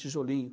Tijolinho.